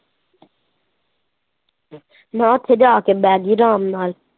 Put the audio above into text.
ਮੈਂ ਉੱਥੇ ਜਾ ਕੇ ਬਹਿ ਗਈ ਆਰਾਮ।